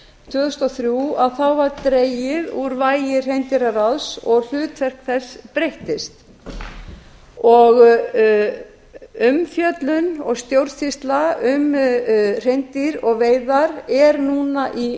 tvö þúsund og þrjú var dregið úr vægi hreindýraráðs og hlutverk þess breyttist umfjöllun og stjórnsýsla um hreindýr og veiðar er núna